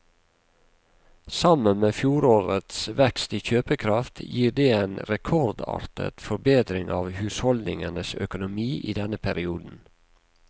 Sammen med fjorårets vekst i kjøpekraft gir det en rekordartet forbedring av husholdningenes økonomi i denne perioden.